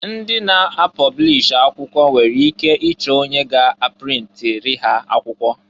Ndị na-apọblish akwụkwọ nwere ike ịchọ onye ga-aprintiri ha akwụkwọ.